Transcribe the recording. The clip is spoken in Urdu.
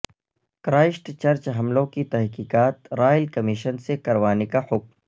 کرائسٹ چرچ حملوں کی تحقیقات رائل کمیشن سے کروانے کا حکم